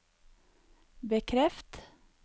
bekreft